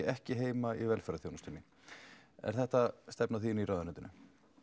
ekki heima í velferðarþjónustunni er þetta stefna þín í ráðuneytinu